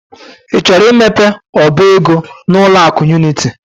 I chọrọ imepe ọba ego n'ụlọ akụ Unity?